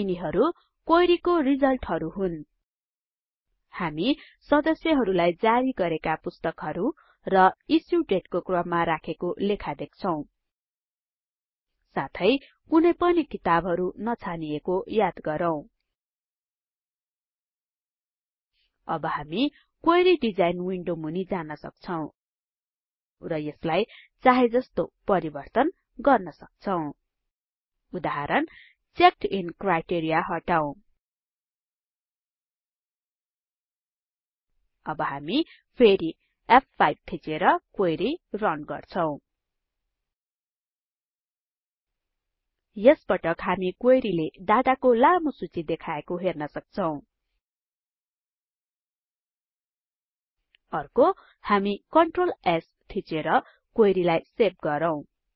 यिनीहरु query को रिजल्टहरु हुन् हामी सदस्यहरुलाई जारी गरेका पुस्तकहरु र इस्यु दाते को क्रममा राखेको लेखा देख्छौं साथै कुनै पनि किताबहरु नछानिएको याद राखौं अब हामी क्वेरी डिजाइन विन्डो मुनि जान सक्छौं र यसलाई चाहेजस्तो परिवर्तन गर्न सक्छौं उदाहरण चेक्ड इन क्राइटेरिया हटाऊ अब हामी फेरी फ5 थिचेर क्वेरी रन गर्छौं यस पटक हामी क्वेरी ले डाटाको लामो सुची देखाएको हेर्न सक्छौं अर्को हामी कन्ट्रोल S थिचेर क्वेरी लाई सेभ गरौँ